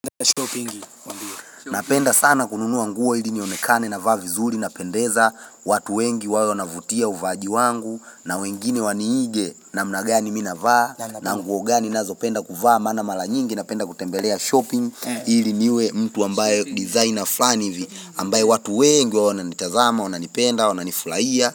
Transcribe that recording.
Napenda sana kununua nguo ili nionekane na vaavizuri napendeza watu wengi wayo navutia uvaaji wangu na wengine waniige namna gani mi navaa na mguo gani nazo penda kuvaa maana mala nyingi napenda kutembelea shopping ili niwe mtu ambaye designer flani ivi ambaye watu wengi wana nitazama wana nipenda wana nifulaia.